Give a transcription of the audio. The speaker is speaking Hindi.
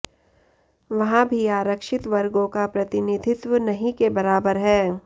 वहाँ भी आरक्षित वर्गों का प्रतिनिधित्व नहीं के बराबर है